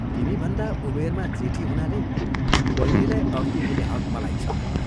तिमीभन्दा उमेरमा जेठी हुनाले बैनीलाई अर्ती दिने हक मलाई छ।